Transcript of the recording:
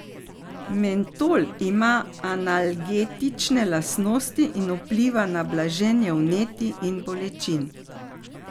Mentol ima analgetične lastnosti in vpliva na blaženje vnetij in bolečin.